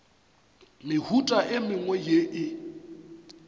mehuta e mengwe ye e